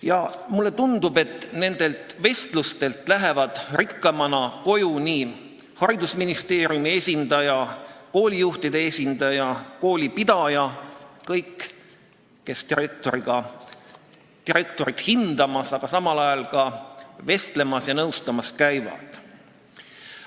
Ja mulle tundub, et nendelt vestlustelt lähevad rikkamana koju haridusministeeriumi esindaja, koolijuhtide esindaja, koolipidaja esindaja – kõik, kes direktoreid hindamas, aga samal ajal ka neid nõustamas ja nendega vestlemas käivad.